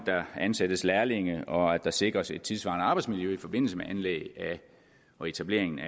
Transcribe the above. der ansættes lærlinge og at der sikres et tidssvarende arbejdsmiljø i forbindelse med anlæg og etablering af